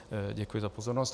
Děkuji za pozornost.